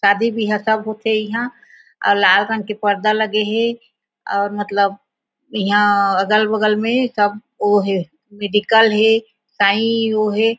शादी बिहा सब होथे इहा अउ लाल रंग के पर्दा लगे हे और मतलब इहा अगल-बगल में सब ओ हे मेडिकल हे साई ओ हे।